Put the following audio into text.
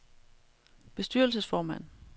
bestyrelsesformand